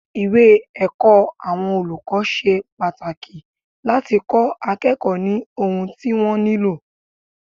Ìwé ẹ̀kọ́ àwọn olùkọ́ ṣe pàtàkì láti kó akẹ́kọ̀ọ́ ní ohun tí wọ́n nílò.